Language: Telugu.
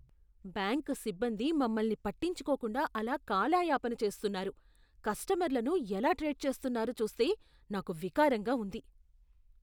బ్యాంకు సిబ్బంది మమ్మల్ని పట్టించుకోకుండా అలా కాలాయాపన చేస్తున్నారు, కస్టమర్లను ఎలా ట్రీట్ చేస్తున్నారో చూస్తే నాకు వికారంగా ఉంది.